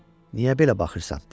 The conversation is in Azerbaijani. Niyə belə baxırsan?